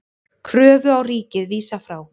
Kröfu á ríkið vísað frá